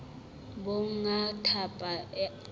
ha monga thepa a rata